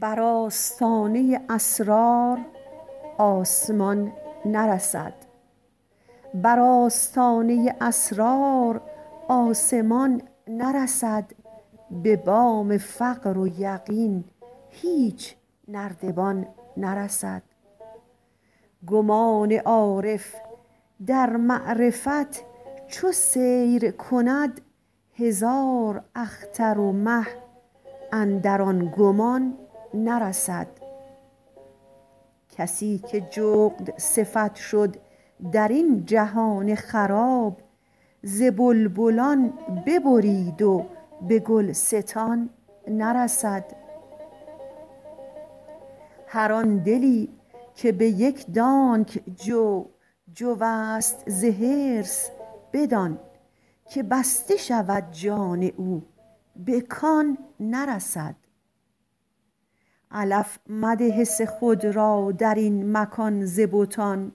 بر آستانه اسرار آسمان نرسد به بام فقر و یقین هیچ نردبان نرسد گمان عارف در معرفت چو سیر کند هزار اختر و مه اندر آن گمان نرسد کسی که جغدصفت شد در این جهان خراب ز بلبلان ببرید و به گلستان نرسد هر آن دلی که به یک دانگ جو جوست ز حرص به دانک بسته شود جان او به کان نرسد علف مده حس خود را در این مکان ز بتان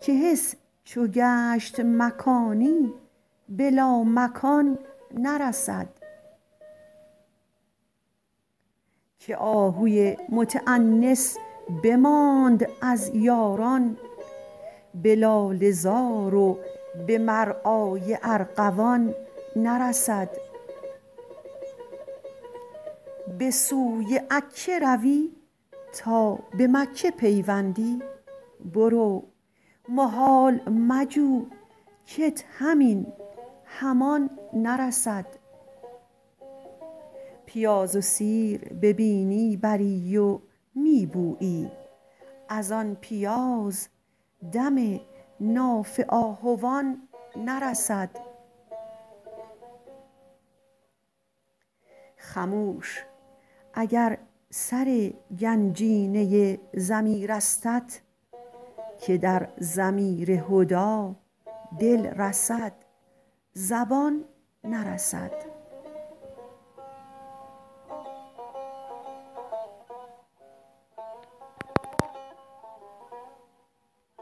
که حس چو گشت مکانی به لامکان نرسد که آهوی متأنس بماند از یاران به لاله زار و به مرعای ارغوان نرسد به سوی عکه روی تا به مکه پیوندی برو محال مجو کت همین همان نرسد پیاز و سیر به بینی بری و می بویی از آن پیاز دم ناف آهوان نرسد خموش اگر سر گنجینه ضمیرستت که در ضمیر هدی دل رسد زبان نرسد